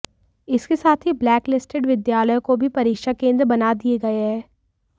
इसके साथ ही ब्लैक लिस्टेड विद्यालयों को भी परीक्षा केन्द्र बना दिए गए हैं